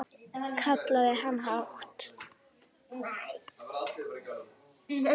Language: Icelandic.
kallaði hann hátt.